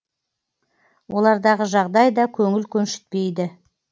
олардағы жағдай да көңіл көншітпейді